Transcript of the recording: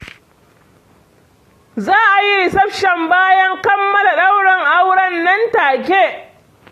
za a yi reception bayan kammala ɗaurin auren nan take.